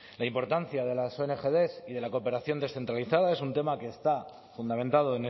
la importancia de las ongd y de la cooperación descentralizada es un tema que está fundamentado